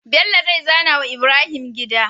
Bello zai zana wa Ibrahim gida